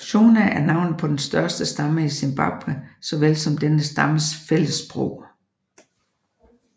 Shona er navnet på den største stamme i Zimbabwe såvel som denne stammes fællessprog